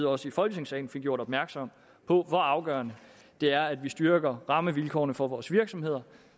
også i folketingssalen fik gjort opmærksom på hvor afgørende det er at vi styrker rammevilkårene for vores virksomheder